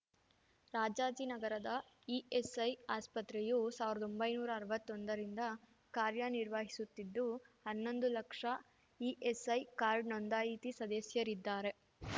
ರಾಜಾಜಿನಗರದ ESI ಆಸ್ಪತ್ರೆಯು ಸಾವ್ರ್ದೊಂಭೈನೂರಾ ಅರ್ವತ್ತೊಂದ ರಿಂದ ಕಾರ್ಯನಿರ್ವಹಿಸುತ್ತಿದ್ದು ಹನ್ನೊಂದು ಲಕ್ಷ ಇಎಸ್‌ಐ ಕಾರ್ಡ್ ನೋಂದಾಯಿತಿ ಸದಸ್ಯರಿದ್ದಾರೆ